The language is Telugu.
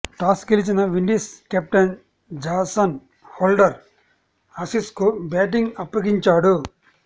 టాస్ గెలిచిన విండీస్ కెప్టెన్ జాసన్ హోల్డర్ ఆసీస్కు బ్యాటింగ్ అప్పగించాడు